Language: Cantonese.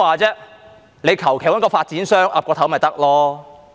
他們隨便找個發展商點頭便行了。